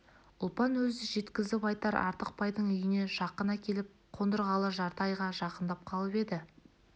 ұлпан өзі де жеткізіп айтар артықбайдың үйіне жақын әкеліп қондырғалы жарты айға жақындап қалып еді